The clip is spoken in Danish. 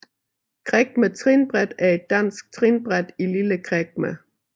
Kregme Trinbræt er et dansk trinbræt i Lille Kregme